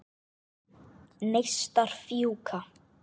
Neistar fjúka.